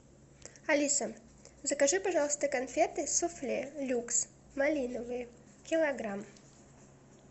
алиса закажи пожалуйста конфеты суфле люкс малиновые килограмм